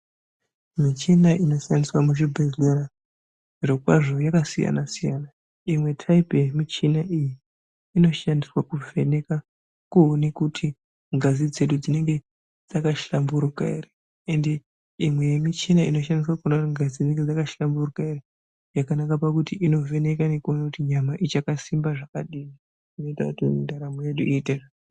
Michina inoshandiswa muzvibhedhlera zvirokwazvo yakasiyana siyana imwe tayipi yemishina iyi inoshandiswa kuvheneka kuone kuti ngazi dzedu dzinenge dzakahlamburuka ere ende imwe yemichina inoshandiswa kuona kuti ngazi dzakahlamburuka ere yakanaka pakuti inovheneke nekuone kuti nyama ichakasimba zvakadini zvinoita kuti ndaramo yedu iite...